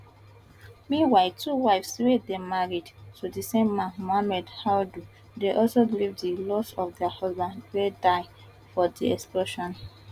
meanwhile two wives wey dey married to di same man muhammadu audu dey also grieve di loss of dia husband wey die for di explosion